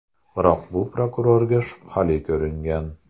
Biroq bu prokurorga shubhali ko‘ringan.